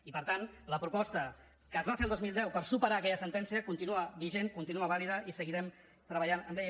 i per tant la proposta que es va fer el dos mil deu per superar aquella sentència continua vigent continua vàlida i seguirem treballant en ella